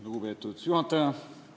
Lugupeetud juhataja!